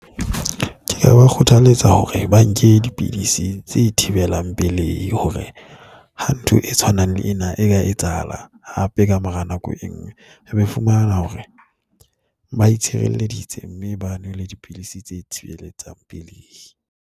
Ke a ba kgothaletsa hore ba nke dipidisi tse thibelang pelei hore ha ntho e tshwanang le ena e ka etsahalang hape ka mora nako e nngwe, re be fumana hore ba itshireleditse, mme ba nwele dipidisi tse thibeletsang pelehi.